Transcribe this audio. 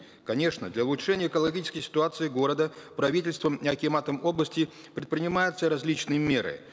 конечно для улучшения экологической ситуации города правительством и акиматом области предпринимаются различные меры